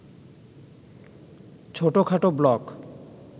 ছোটখাটো ব্লক